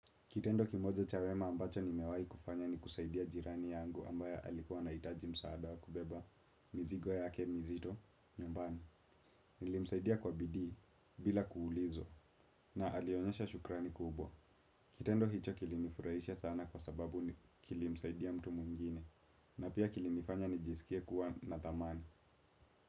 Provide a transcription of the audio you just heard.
Kitendo kimoja cha wema ambacho nimewahi kufanya ni kusaidia jirani yangu ambaye alikuwa anahitaji msaada wa kubeba mizigo yake mizito nyumbani. Nilimsaidia kwa bidii bila kuulizwa, na alionyesha shukrani kubwa. Kitendo hicho kilinifurahisha sana kwa sababu kilimsaidia mtu mwingine na pia kilinifanya nijisikie kuwa na thamani.